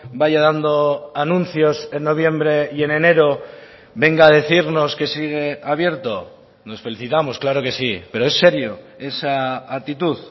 vaya dando anuncios en noviembre y en enero venga a decirnos que sigue abierto nos felicitamos claro que sí pero es serio esa actitud